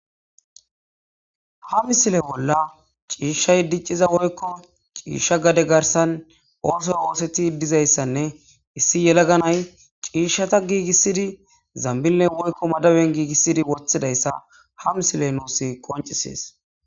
ha misile bolla ciishshay dicciza woykko ciishsha gade garsan oosoy ooseti dizayssanne issi yelaganay ciishshata giigissidi zambinne woykko madaben giigissidi woththidayssa ha misiley nuusi qoncisees